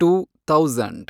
two thousand